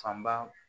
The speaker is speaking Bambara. Fanba